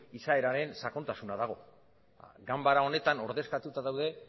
izaeraren sakontasuna dago ganbara honetan ordezkatuta daude